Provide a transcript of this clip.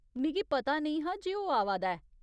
मिगी पता नेईं हा जे ओह् आवा दा ऐ।